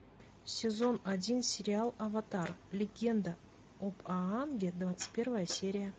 сезон один сериал аватар легенда об аанге двадцать первая серия